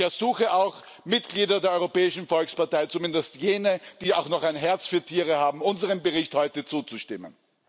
Ich ersuche auch Mitglieder der Europäischen Volkspartei, zumindest jene, die auch noch ein Herz für Tiere haben, unserem Bericht heute zuzustimmen.